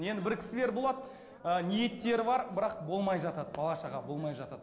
енді бір кісілер болады ыыы ниеттері бар бірақ болмай жатады бала шаға болмай жатады